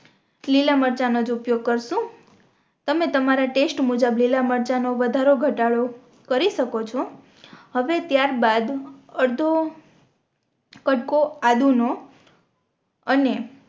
લીલા મરચાં નોજ ઉપયોગ કરશું તમે તમારા ટેસ્ટ મુજબ લીલા મરચાં નો વધારો ઘટાડો કરી શકો છો અવે ત્યાર બાદ અરધો કટકો આદું નો અને